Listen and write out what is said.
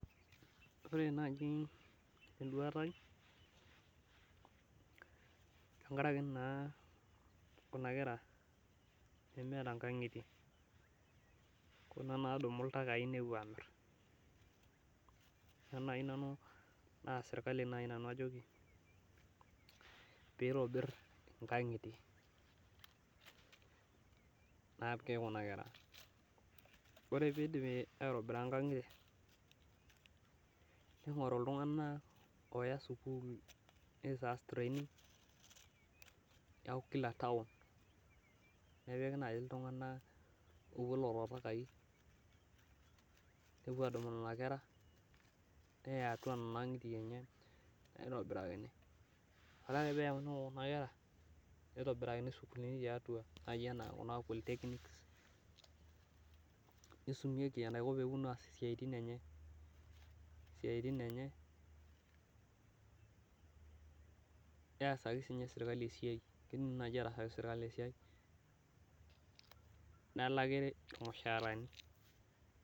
Ore naaji enduata ai tenkaraki naa kuna kera nemeeta nkang'itie, kuna naadumu iltakai nepwo aamirr. Ore naai nanu naa sirkali naai nanu ajoki piitobirr inkang'itie naapiki kuna kera. Ore piidipi aitobira nkang'itie ning'oru iltung'anak ooya sukuul nitaas training. Neeku kila taon nepiki naai iltung'anak oopwo lelo takai nepwo aadumu nena kera, neya atwa nena ang'itie ninye naitobirakini. Ore ake peeyauni Kuna kera neitobirakini sukuulini tiatwa naai enaa kuna polytechnics, nisumieki enaiko peepwonu aas isiaitin enye. Isiaitin enye, neasaki siininye sirkali e siai. Kiidim naai ataasaki sirkali e siai nelaki irmushaarani